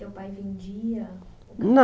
Teu pai vendia? Não